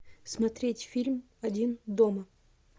смотреть фильм один дома